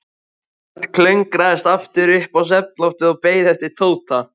Örn klöngraðist aftur upp á svefnloftið og beið eftir Tóta.